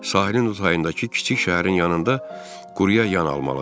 Sahilin o tayındakı kiçik şəhərin yanında quruyayan almalıdır.